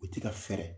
U ti ka fɛɛrɛ